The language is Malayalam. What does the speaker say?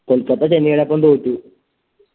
കൊൽക്കത്ത ചെന്നൈടൊപ്പം തോറ്റു